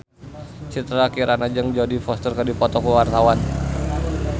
Citra Kirana jeung Jodie Foster keur dipoto ku wartawan